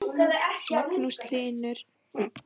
Magnús Hlynur: Eru menn að staupa sig eitthvað almennilega?